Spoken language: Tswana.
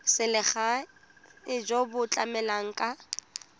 selegae jo bo tlamelang ka